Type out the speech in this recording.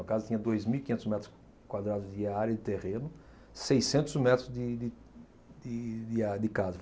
A casa tinha dois mil e quinhentos metros quadrados de área de terreno, seiscentos metros de de de de área de casa.